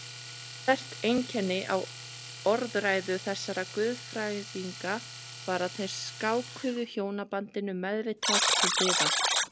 Sterkt einkenni á orðræðu þessara guðfræðinga var að þeir skákuðu hjónabandinu meðvitað til hliðar.